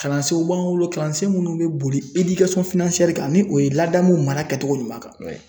Kalansenw b'an bolo kalansen munnu be boli kan .Ni o ye ladamu mara kɛcogo ɲuman kan